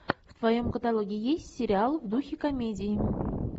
в твоем каталоге есть сериал в духе комедии